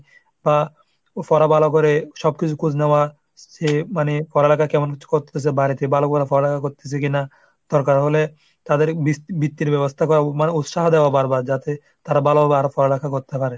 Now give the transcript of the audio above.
বা পড়া ভালো করে সব কিছু খোঁজ নেওয়া সে মানে পড়া লেখা কেমন করতেছে বাড়িতে ভালো করে পড়াশুনা করতেছে কিনা? দরকার হলে তাদের বৃত ⁓ বৃত্তির ব্যবস্থা করা। মানে উৎসাহ দেওয়া বারবার যাতে তারা ভালোভাবে আরো পড়া লেখা করতে পারে।